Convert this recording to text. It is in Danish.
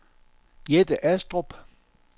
Jette Astrup